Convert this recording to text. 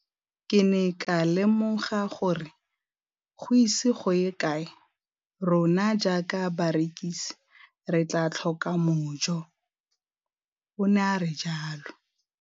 Ke ne ka lemoga gore go ise go ye kae rona jaaka barekise re tla tlhoka mojo, o ne a re jalo.